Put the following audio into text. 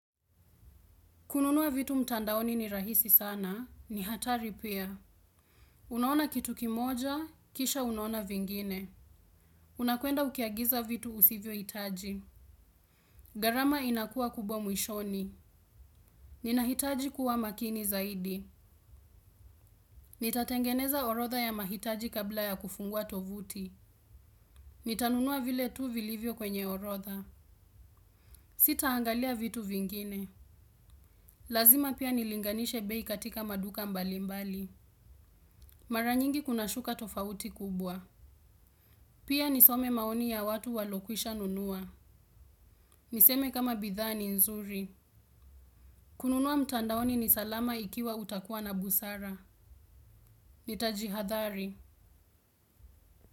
Kununua vitu mtandaoni ni rahisi sana, ni hatari pia. Unaona kitu kimoja, kisha unaona vingine. Unakwenda ukiagiza vitu usivyohitaji. Gharama inakuwa kubwa mwishoni. Ninahitaji kuwa makini zaidi. Nitatengeneza orodha ya mahitaji kabla ya kufungua tovuti. Nitanunua vile tu vilivyo kwenye orodha. Sitaangalia vitu vingine. Lazima pia nilinganishe bei katika maduka mbalimbali. Mara nyingi kuna shuka tofauti kubwa. Pia nisome maoni ya watu walokwisha nunua. Niseme kama bidhaa ni nzuri. Kununua mtandaoni ni salama ikiwa utakuwa na busara. Nitajihadhari.